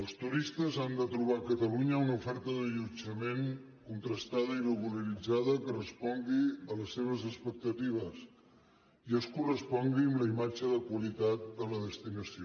els turistes han de trobar a catalunya una oferta d’allotjament contrastada i regularitzada que respongui a les seves expectatives i es correspongui amb la imatge de qualitat de la destinació